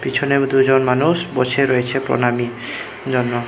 পেছনে ও দুজন মানুষ বসে রয়েছে প্রণামির জন্য।